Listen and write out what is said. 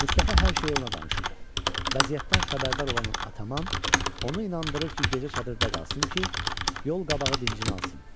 Mustafa hər şeyi ona danışır vəziyyətdən xəbərdar olan ataman onu inandırır ki, gecə çadırda qalsın ki, yol qabağı dincini alsın.